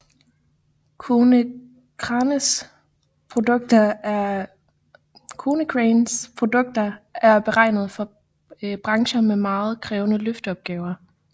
Konecranes produkter er beregnet for brancher med meget krævende løfteopgaver